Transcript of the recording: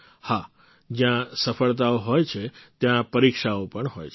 હા જ્યાં સફળતાઓ હોય છે ત્યાં પરીક્ષાઓ પણ હોય છે